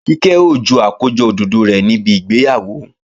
Kíkẹ́ ó ju àkójọ òdòdó rẹ̀ níbi ìgbéyàwó